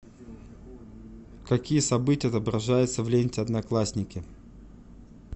какие события отображаются в ленте одноклассники